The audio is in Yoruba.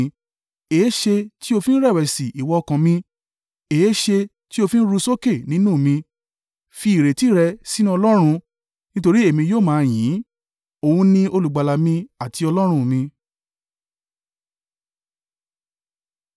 Èéṣe tí o fi ń rẹ̀wẹ̀sì, ìwọ ọkàn mí? Èéṣe tí ó fi ń ru sókè nínú mi? Fi ìrètí rẹ sínú Ọlọ́run, nítorí èmi yóò máa yìn ín, Òun ni Olùgbàlà mi àti Ọlọ́run mi.